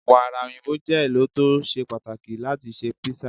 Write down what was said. Wàrà òyìnbó je ẹlò to ṣe pàtàkì láti ṣe písà.